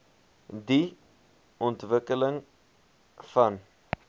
die ontwikkeling van